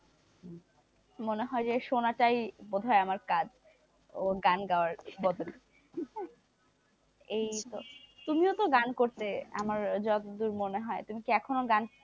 মনে হয় যে সোনাটাই আমার কাজ, গান গাওয়ার বদল তুমিও তো গান করতে আমার যতদূর মনে হয় তুমি কি এখনো গান,